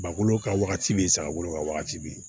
Bakolo ka wagati be yen saga bolo ka wagati be yen